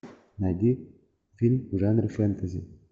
найди фильм в жанре фэнтези